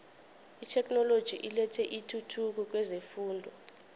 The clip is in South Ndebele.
itheknoloji ilethe intuthuko kwezefundo